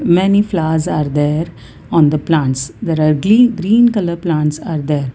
many flowers are there on the plants there are glee green colour plants are there.